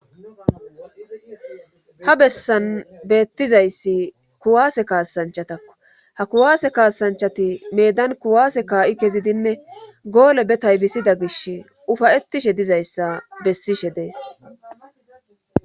ha bessan beettizayssi kuwaase kaasanchatakko ha kuwaase kaasanchati medan kuwaase kaa7i kezidinne goole be taybisida gish ufayettishe dizayssa bessishe dees